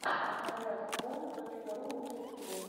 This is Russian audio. красноярск лэнд точка ру лучший эпизод